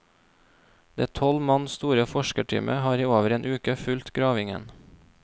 Det tolv mann store forskerteamet har i over en uke fulgt gravingen.